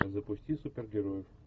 запусти супергероев